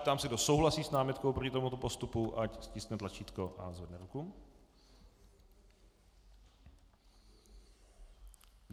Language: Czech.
Ptám se, kdo souhlasí s námitkou proti tomuto postupu, ať stiskne tlačítko a zvedne ruku.